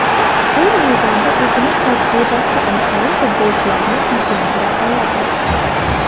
U maydonda o‘zining tajribasi orqali futbolchilarni tinchlantira oladi.